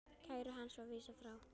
Kæru hans var vísað frá.